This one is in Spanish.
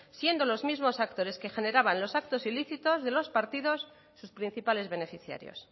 siendo los mismos actores que generaban los actos ilícitos de los partidos sus principales beneficiarios